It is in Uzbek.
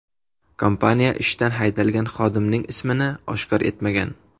Kompaniya ishdan haydalgan xodimning ismini oshkor etmagan.